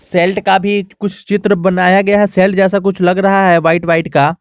Sailed का भी कुछ चित्र बनाया गया है सेल्ट जैसा कुछ लग रहा है व्हाइट व्हाइट का।